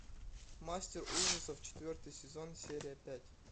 мастер ужасов четвертый сезон серия пять